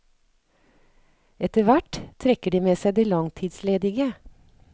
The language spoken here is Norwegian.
Etterhvert trekker de med seg de langtidsledige.